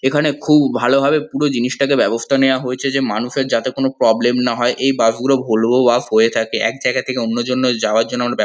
এখানে খুব ভালোভাবে পুরো জিনিসটাকে ব্যবস্থা নেওয়া হয়ছে যে মানুষের যাতে কোনো প্রবলেম না হয় এই বাস গুলো ভলভো বাস হয় থাকে এক জায়গায় থেকে অন্য জনের যাওয়ার জন্য ব--